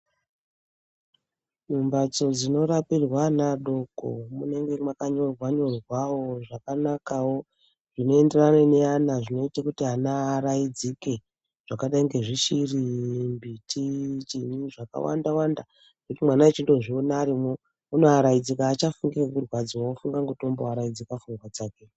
Mubatsi dzinorapirwa ana adoko munonga makanyorwa nyorwawo zvakanakawo zvinoenderana neana zvinoita kuti ana araidzike zvakadainge zvishiri muti chinyi zvakawanda wanda mwana achidozviona arimo anawaraidzika achafunge kurwadziswa wakufunga ngekuwarayidzika pfungwa dzake